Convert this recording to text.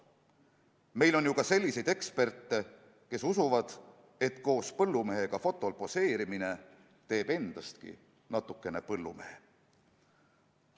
Meil on ju ka selliseid eksperte, kes usuvad, et koos põllumehega fotol poseerimine teeb endastki natukene põllumehe.